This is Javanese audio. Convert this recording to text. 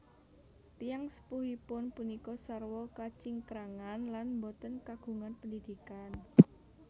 Tiyang sepuhipun punika sarwa kacingkrangan lan boten kagungan pendidikan